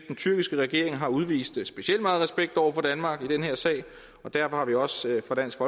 den tyrkiske regering har udvist specielt meget respekt over for danmark i den her sag og derfor har vi også fra dansk